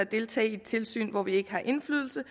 deltage i et tilsyn hvor vi ikke har indflydelse